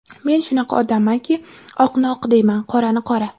Men shunaqa odammanki, oqni oq deyman, qorani qora!